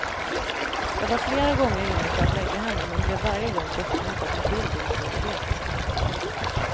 Jag var flera gånger inne för att lägga henne men blev varje gång bortmotad med vild otålighet.